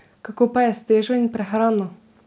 Kako pa je s težo in prehrano?